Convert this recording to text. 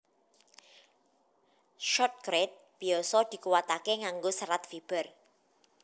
Shotcrete biasa dikuwataké nganggo serat fiber